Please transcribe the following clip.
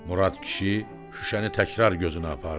Murad kişi şüşəni təkrar gözünə apardı.